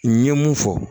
N ye mun fɔ